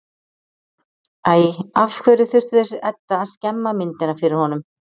Æ, af hverju þurfti þessi Edda að skemma myndina fyrir honum?